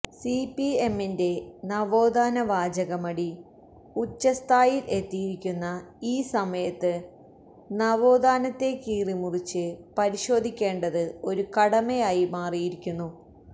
സിപിഎമ്മിന്റെ നവോത്ഥാന വാചകമടി ഉച്ചസ്ഥായിയിൽ എത്തിയിരിക്കുന്ന ഈ സമയത്ത് നവോത്ഥാനത്തെ കീറിമുറിച്ച് പരിശോധിക്കേണ്ടത് ഒരു കടമയായി മാറിയിരിക്കുന്നു